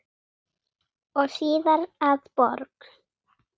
og síðar að borg.